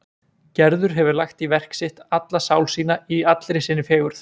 Gerður hefur lagt í verk sitt alla sál sína í allri sinni fegurð.